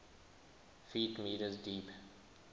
ft m deep